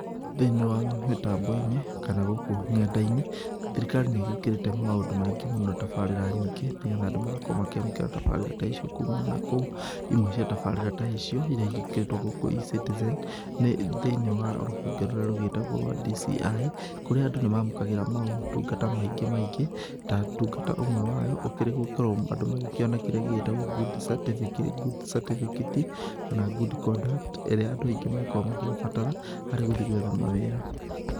Thĩinĩ wa mĩtambo-inĩ kana gũkũ ng'enda-inĩ thirikari nĩ ĩgĩkĩrĩte maũndũ maingĩ mũno tabarĩra nyingĩ nĩ getha andũ magakorwo makĩamũkĩra tabarĩra ta icio kumana na kũu. Imwe cia tabarira ta icio iria igĩkĩrĩtwo gũkũ E-citizen, nĩ thĩinĩ wa rũhonge rũrĩa rũgĩtagwo rwa DCI , kũrĩa andũ nĩ mamũkagĩra maũtungata maingĩ maingĩ, ta ũtungata ũmwe wa yo gũkorwo andũ magĩkíĩoya kĩrĩa gĩgĩtagwo good cartificate kana good conduct, ĩrĩa andũ makoragwo magĩgĩbatara harĩ gũthi gwetha mawĩra.